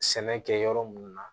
Sɛnɛ kɛ yɔrɔ mun na